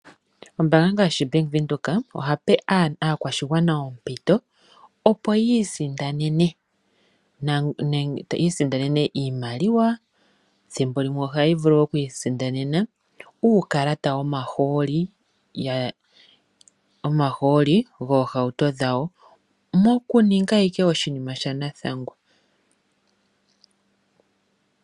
Ombaanga ngaashi oBank Windhoek ohayi pe aakwashigwana ompito, opo yi isindanene iimaliwa, thimbo limwe ohashi vulu oku isindanena uukalata womahooli goohauto dhawo mokuninga ashike oshinima shanathangwa.